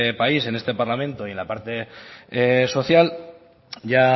país en este parlamento y en la parte social ya